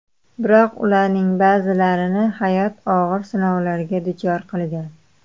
Biroq ularning ba’zilarini hayot og‘ir sinovlarga duchor qilgan.